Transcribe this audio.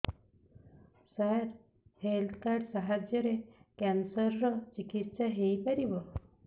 ସାର health card ସାହାଯ୍ୟରେ cancer ର ଚିକିତ୍ସା ହେଇପାରିବ